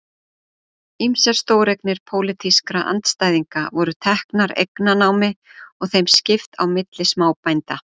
Ýmsar stóreignir pólitískra andstæðinga voru teknar eignanámi og þeim skipt á milli smábænda.